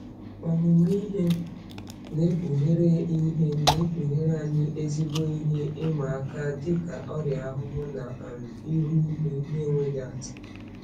Ọmụmụ ihe na-ekpughere ihe na-ekpughere anyị ezigbo ihe ịma aka dị ka ọrịa ahụhụ na um ihu igwe na-enweghị atụ.